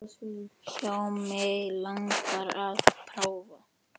Já, mig langar að prófa.